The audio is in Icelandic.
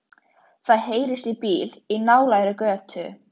Það heyrist í bíl í nálægri götu.